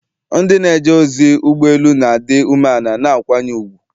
Ndị na-eje ozi ụgbọ elu na-adị umeala na akwanye ùgwù.